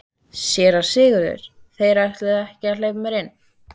SÉRA SIGURÐUR: Þeir ætluðu ekki að hleypa mér inn.